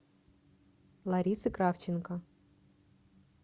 ларисы кравченко